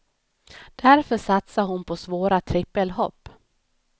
Därför satsar hon på svåra trippelhopp.